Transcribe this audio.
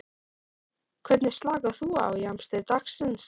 Hvernig slakar þú á í amstri dagsins?